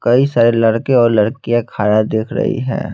कई सारे लड़के और लड़कियाँ खारा देख रही है।